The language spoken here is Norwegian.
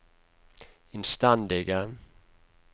innstendige